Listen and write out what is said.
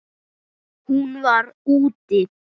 Hún var: úti.